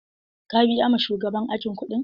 Ka biya ma shugaban aji kuɗin?